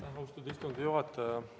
Aitäh, austatud istungi juhataja!